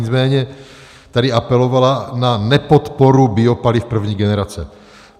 Nicméně tady apelovala na nepodporu biopaliv první generace.